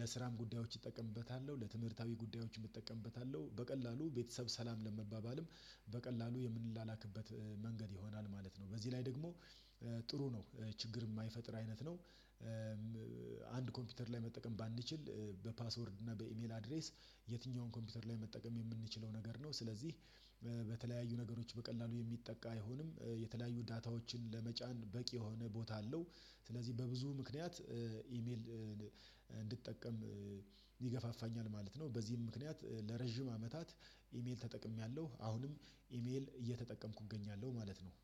ለስራም ጉዳዮች እጠቀምበታለሁ ለትምህርታዊ ጉዳዮች እጠቀምበታለሁ በቀላሉ ቤተሰብ ሰላም ለመባባልም በቀላሉ የምንላክበት መንገድ ይሆናል ማለት ነው። በዚህ ላይ ደግሞ ጥሩ ነው ችግር የማይፈጥር አይነት ነው። አንድ ኮምፒውተር ላይ መጠቀም ባንችል በፓስወርድ እና በኢሜል አድሬስ የትኛውን ኮምፒውተር ላይ መጠቀም የምንችለው ነገር ነው። ስለዚህ በተለያዩ ነገሮች በቀላሉ የሚጠቃ አይሆንም። የተለያዩ ዳታዎችን ለመጫን በቂ የሆነ ቦታ አለው ስለዚህ በብዙ ምክንያት ኢሜል እንድጠቀም ይገፋፋኛል ማለት ነው። በዚህም ምክንያት ለረጅም አመታት ኢሜል ተጠቅሜያለሁ አሁንም ኢሜል እየተጠቀምኩ እገኛለሁ ማለት ነው